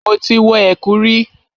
Mo ti wọ ẹ̀kú rí.